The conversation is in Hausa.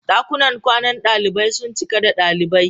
Dakunan kwanan dalibai sun cika da dalibai.